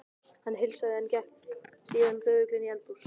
Hann heilsaði, en gekk síðan þögull inn í eldhús.